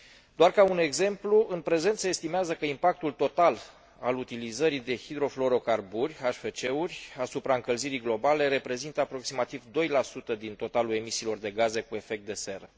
Doar ca un exemplu, în prezent se estimează că impactul total al utilizării de hidrofluorocarburi asupra încălzirii globale reprezintă aproximativ 2 din totalul emisiilor de gaze cu efect de seră.